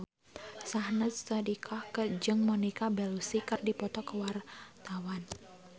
Syahnaz Sadiqah jeung Monica Belluci keur dipoto ku wartawan